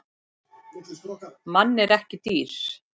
Mann en ekki dýr.